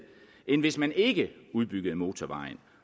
end hvis man ikke udbyggede motorvejen